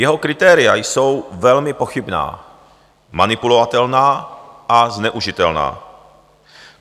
Jeho kritéria jsou velmi pochybná, manipulovatelná a zneužitelná.